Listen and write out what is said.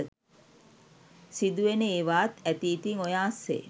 සිදුවෙන ඒවාත් ඇති ඉතිං ඔය අස්සේ.